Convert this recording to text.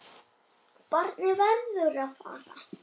Barnið verður að fara.